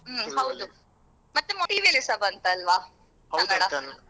ಮತ್ತೆ ಒಮ್ಮೆ TV ಅಲ್ಲಿಸ ಬಂತಲ್ವಾ .